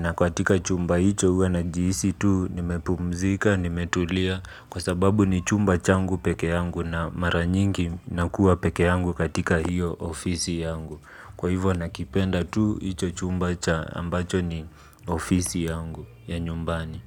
Na katika chumba hicho uwa na jisi tu nimepumzika nimetulia. Kwa sababu ni chumba changu peke yangu na mara nyingi nakuwa peke yangu katika hiyo ofisi yangu. Kwa hivyo nakipenda tu ito chumba cha ambacho ni ofisi yangu ya nyumbani.